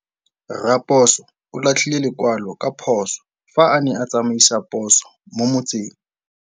Raposo o latlhie lekwalô ka phosô fa a ne a tsamaisa poso mo motseng.